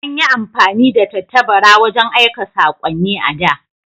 An yi amfani da tattabara wajen aika sakonni a da.